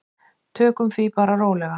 Tökum því bara rólega.